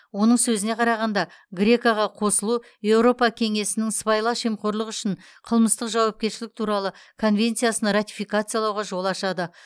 оның сөзіне қарағанда греко ға қосылу еуропа кеңесінің сыбайлас жемқорлық үшін қылмыстық жауапкершілік туралы конвенциясын ратификациялауға жол ашады